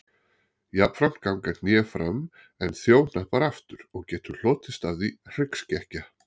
Jafnframt ganga hné fram en þjóhnappar aftur og getur hlotist af því hryggskekkja.